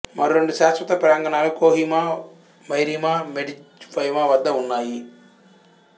మరో రెండు శాశ్వత ప్రాంగణాలు కోహిమా మెరిమా మెడ్జిఫెమా వద్ద ఉన్నాయి